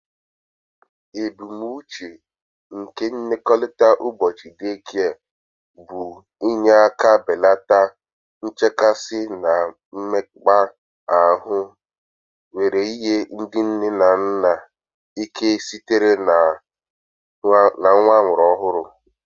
Ebumnuche nke nlekọta ụbọchị day care bụ inye aka belata nchekasị na mmekpa ahụ were nye ndị nne na nna nke sitere na nwa amụrụ ọhụrụ